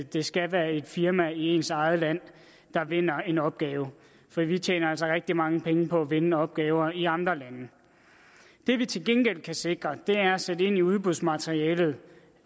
det skal være et firma i ens eget land der vinder en opgave for vi tjener altså rigtig mange penge på at vinde opgaver i andre lande det vi til gengæld kan sikre er at sætte ind i udbudsmaterialet